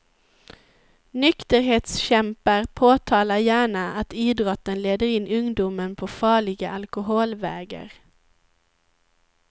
Nykterhetskämpar påtalar gärna att idrotten leder in ungdomen på farliga alkoholvägar.